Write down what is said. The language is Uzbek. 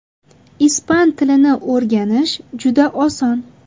Ispan tilini o‘rganish juda oson.